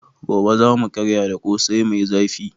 Gobe za mu karya da Ƙosai mai zafi.